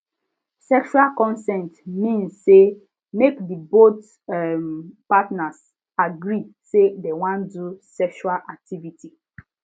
sexual consent mean say mk the both um partners agree say dem wan do sexual activity